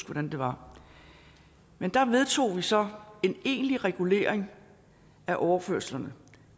hvordan det var men der vedtog vi så en egentlig regulering af overførslerne